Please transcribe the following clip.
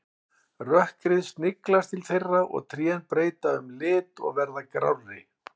Rökkrið sniglast til þeirra og trén breyta um lit og verða grárri.